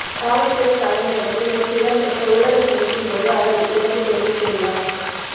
காவல்துறை தலைமையகத்தில் நேற்று இடம்பெற்ற ஊடக சந்திப்பின் போது அவர் இதனைத் தெரிவித்துள்ளார்